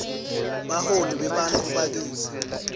baholi bebantfu bakitsi